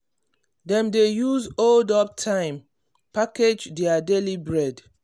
dem dey use hold-up time package their daily bread.